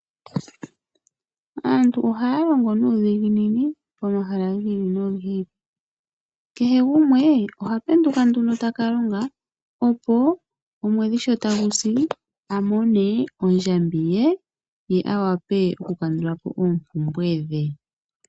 Aantu ohaya longo nuudhiginini pomahala gi ili nogi ili. Kehe gumwe oha penduka nduno taka longa opo omwedhi sho tagu si a mone ondjambi ye, ye a wape oku kandula po oompumbwe dhe.